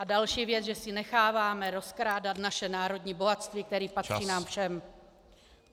A další věc, že si necháváme rozkrádat naše národní bohatství, které patří nám všem.